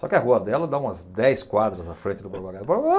Só que a rua dela dá umas dez quadras à frente do Borba Gato.